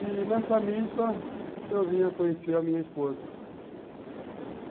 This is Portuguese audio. E nessa missa, eu vim a conhecer a minha esposa.